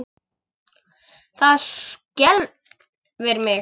Það skelfir mig.